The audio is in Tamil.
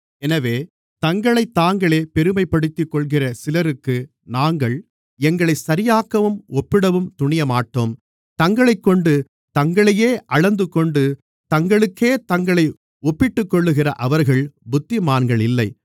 எனவே தங்களைத்தாங்களே பெருமைப்படுத்திக் கொள்கிற சிலருக்கு நாங்கள் எங்களை சரியாக்கவும் ஒப்பிடவும் துணியமாட்டோம் தங்களைக்கொண்டு தங்களையே அளந்துகொண்டு தங்களுக்கே தங்களை ஒப்பிட்டுக்கொள்கிற அவர்கள் புத்திமான்கள் இல்லை